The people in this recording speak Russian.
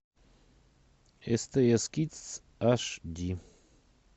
стс кидс аш ди